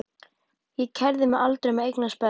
Ég kærði mig aldrei um að eignast börn.